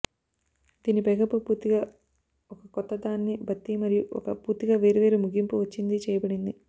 దీని పైకప్పు పూర్తిగా ఒక కొత్త దానిని భర్తీ మరియు ఒక పూర్తిగా వేర్వేరు ముగింపు వచ్చింది చెయ్యబడింది